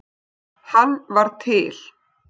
Hann var til.